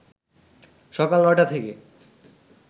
সকাল ৯টা থেকে